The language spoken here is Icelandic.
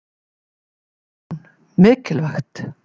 Hugrún: Mikilvægt?